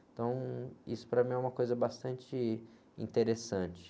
Então, isso para mim é uma coisa bastante interessante.